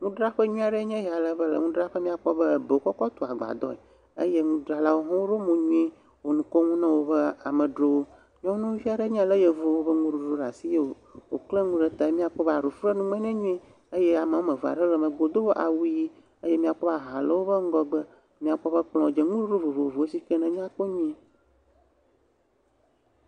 Nudzraƒe nyui aɖe ye ya ale be le nudzraƒe miakpɔ be ebe wokɔkɔ tu agbadɔe eye nudzrala wo hã woɖo mo nyuie wo ŋu kom ne be amedzrowo. Nyɔvia ɖe nye ya le yevuwo ƒe nuɖuɖu ɖa si ye woklẽ ŋu ɖe te ye miakpɔ bena aɖu fu ɖe nume nɛ nyuie eye ameame ve aɖe le megbe do awu ɣi eye miakpɔ aha le woƒe ŋgɔgbe. Míakpɔ be kplɔ̃ dzi nuɖuɖu vovovowo sike nyakpɔ nyuie.